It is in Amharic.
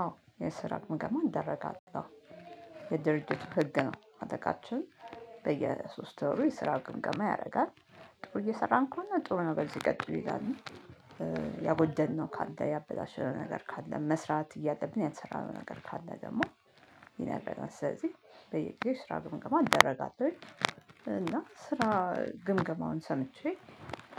አዎ የስራ ግምገማ ይደረጋል። የድርጅቱ ህግ ነው አለቃችን በየሶስት ወሩ የስራ ግምገማ ያደርጋል። ጥሩ እየሰራን ከሆነ ጥሩ ነገር በዚሁ ቀጥሉ ይላል። ያጎደንነው ካለ ያበላሸነው ነገር ካለ መስራት እያለብን ያልሰራነው ነገር ካለ ደግሞ ስለዚህ በየጊዜው ስራ ግምገማ አደረጋለሁ። እና ስራ ግምገማውን ሰምቼ